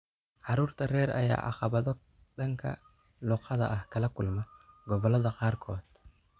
Caruurta rer ayaa caqabado dhanka luuqadda ah kala kulma gobolada qaarkood.